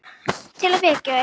Til að vekja þau.